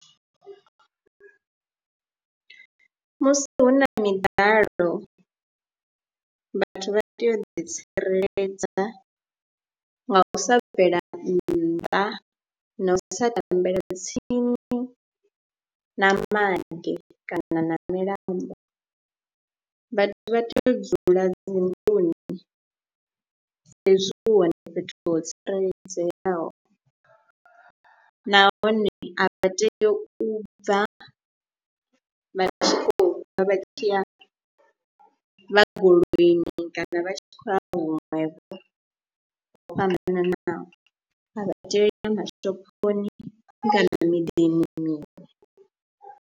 Musi hu na miḓalo vhathu vha tea u ḓitsireledza nga u sa bvela nnḓa na u sa tambela tsini na maḓi kana na milambo, vhathu vha tea u dzula dzinḓuni saizwi hu hone fhethu ho tsireledzeaho nahone a vha tei u bva vha tshi khou bva vha tshi ya vha goloini kana vha tshi khou a huṅwe vho ho fhambananaho, vha tea u ya mashophoni kana miḓini minzhi.